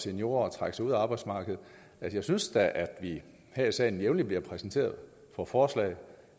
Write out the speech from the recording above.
seniorer at trække sig ud af arbejdsmarkedet jeg synes da at vi her i salen jævnligt bliver præsenteret for forslag